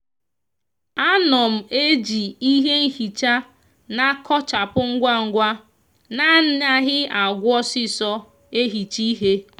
a no m eji ihe nhicha n'akochapu ngwangwa na anaghi agwu osiso ehicha ihe.